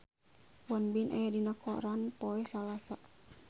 Won Bin aya dina koran poe Salasa